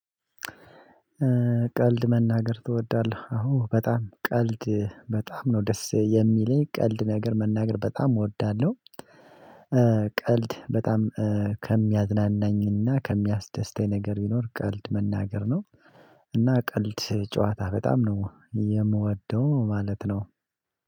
ቀልድ መናገር ትወዳለህ? አዎ በጣም ቀልድ በጣም ነው ደስ የሚለኝ ቀልድ ነገር መናገር በጣም እወዳለሁ። ቀልድ በጣም ከሚያዝናናኝና ከሚያስደስተኝ ነገር ቢኖር ቀልድ መናገር ነው። እና ቀልድ ጨዋታ በጣም ነው የምወደው ማለት ነው።